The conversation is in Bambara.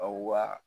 Aw wa